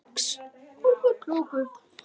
Það mun fátítt.